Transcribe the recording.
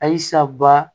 Ayisaba